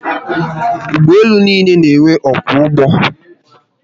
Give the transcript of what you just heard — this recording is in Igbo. Ugboelu n'iile n'enwe ọkwọ ụgbọ